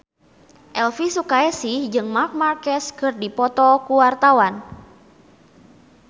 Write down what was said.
Elvy Sukaesih jeung Marc Marquez keur dipoto ku wartawan